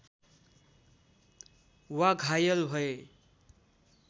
वा घायल भए